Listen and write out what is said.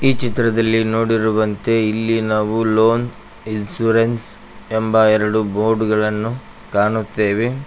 ಈ ಚಿತ್ರದಲ್ಲಿ ನೋಡಿರುವಂತೆ ಇಲ್ಲಿ ನಾವು ಲೋನ್ ಇನ್ಸೂರೆನ್ಸ್ ಎಂಬ ಎರಡು ಬೋರ್ಡ್ ಗಳನ್ನು ಕಾಣುತ್ತೇವೆ.